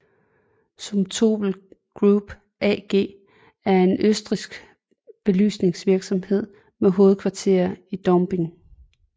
Zumtobel Group AG er en østrigsk belysningsvirksomhed med hovedkvarter i Dornbirn